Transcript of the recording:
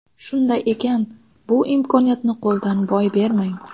Shunday ekan bu imkoniyatni qo‘ldan boy bermang.